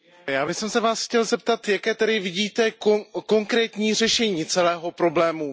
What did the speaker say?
Já bych se vás chtěl zeptat Jaké tedy vidíte konkrétní řešení celého problému?